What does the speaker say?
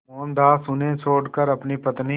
मोहनदास उन्हें छोड़कर अपनी पत्नी